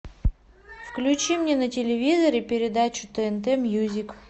включи мне на телевизоре передачу тнт мьюзик